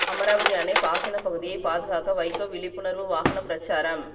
அமராவதி அணை பாசனப் பகுதியை பாதுகாக்க வைகோ விழிப்புணர்வு வாகனப் பிரச்சாரம்